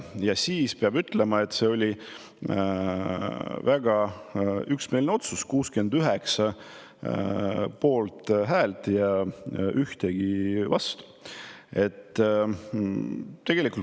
Ja siis, peab ütlema, oli see väga üksmeelne otsus: 69 poolthäält ja mitte ühtegi vastuhäält.